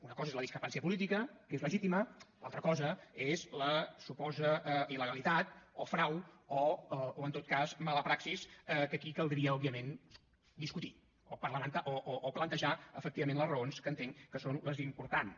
una cosa és la discrepància política que és legítima l’altra cosa és la suposada il·legalitat o frau o en tot cas mala praxi que aquí caldria òbviament discutir o plantejar efectivament les raons que entenc que són les importants